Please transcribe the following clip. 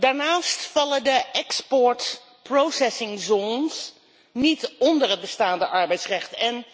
Daarnaast vallen de exportproductiezones niet onder het bestaande arbeidsrecht.